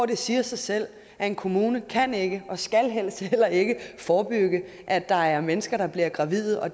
det siger sig selv at en kommune ikke kan ikke skal forebygge at der er mennesker der bliver gravide og